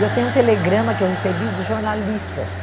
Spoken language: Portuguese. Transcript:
E eu tenho um telegrama que eu recebi dos jornalistas.